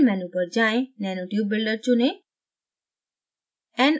build menu पर जाएँ nanotube builder चुनें